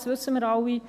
Das wissen wir alle.